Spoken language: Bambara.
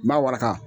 N b'a waraka